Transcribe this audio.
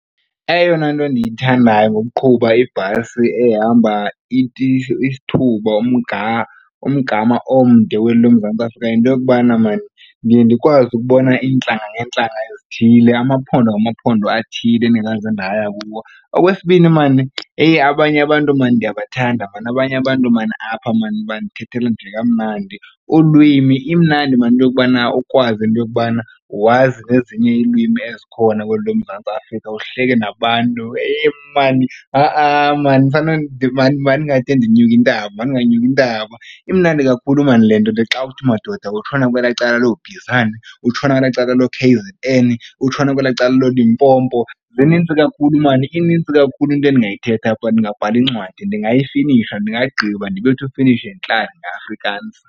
Eyona nto ndiyithandayo ngokuqhuba ibhasi ehamba isithuba umgama omde weli loMzantsi Afrika yinto yokubana maan ndiye ndikwazi ukubona iintlanga ngeentlanga ezithile, amaphondo ngamaphondo athile endingazange ndaya kuwo. Okwesibini, maan eyi, abanye abantu maan ndiyabathanda maan, abanye abantu maan apha maan bandithethela nje kamnandi ulwimi. Imnandi maan into yokubana ukwazi into yokubana wazi nezinye iilwimi ezikhona kweli loMzantsi Afrika, uhleke nabantu eyi, maan ha-a maan mandingade ndinyukintaba mandinganyukintaba. Imnandi kakhulu maan le nto xa uthi madoda utshona kwela cala looBizana, utshona kwela cala looKZN, utshona kwela cala looLimpopo. Zinintsi kakhulu maan inintsi kakhulu into ndingayithetha apha ndingabhala incwadi, ndingayifinisha ndingayigqiba ndibethe ufinish and klaar ngeAfrikaans.